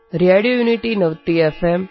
radio Unity ninety F